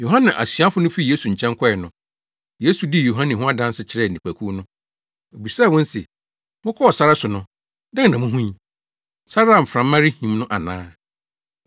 Yohane asuafo no fii Yesu nkyɛn kɔe no, Yesu dii Yohane ho adanse kyerɛɛ nnipakuw no. Obisaa wɔn se, “Mokɔɔ sare so no, dɛn na muhui? Sare a mframa rehim no ana?